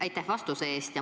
Aitäh vastuse eest!